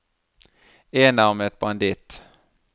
enarmet banditt